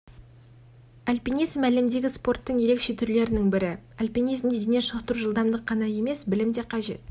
альпинизм әлемдегі спорттың ерекше түрлерінің бірі альпинизмде дене шынықтыру жылдамдық қана емес және білім де қажет